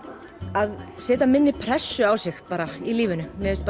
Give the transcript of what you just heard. að setja minni pressu á sig í lífinu mér finnst